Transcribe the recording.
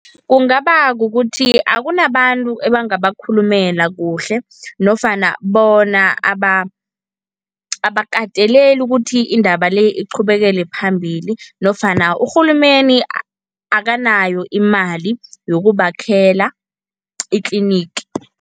Kungaba kukuthi akunabantu ebangabakhulumela kuhle nofana bona abakateleli ukuthi indaba le iqhubekele phambili nofana urhulumeni akanayo imali yokubakhela itlinigi.